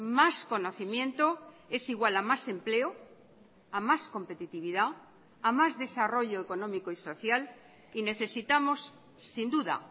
más conocimiento es igual a más empleo a mas competitividad a más desarrollo económico y social y necesitamos sin duda